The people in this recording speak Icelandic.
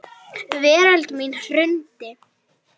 Veröld mín hrundi.